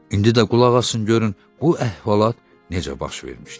İndi də qulaq asın görün bu əhvalat necə baş vermişdi.